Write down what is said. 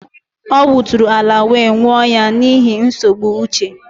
Ọ wuturu ala wee nwuụ ya n'ihi nsogbu uche